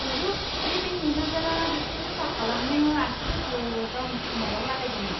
ओहो, बे बेंक मेनेजारआ बेखौ साफा खालामनो आसिफोरखौ गावनि खोमायाव लागायदोंमोन।